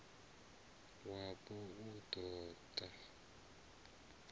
wapo u d o ta